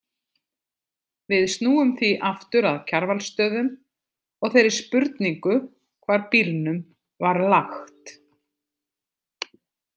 Við snúum því aftur að Kjarvalsstöðum og þeirri spurningu hvar bílnum var lagt.